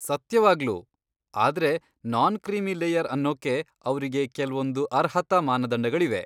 ಸತ್ಯವಾಗ್ಲೂ! ಆದ್ರೆ non creamy layer ಅನ್ನೋಕ್ಕೆ ಅವ್ರಿಗೆ ಕೆಲ್ವೊಂದ್ ಅರ್ಹತಾ ಮಾನದಂಡಗಳಿವೆ.